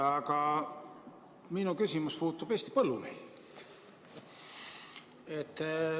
Aga minu küsimus puudutab Eesti põllumehi.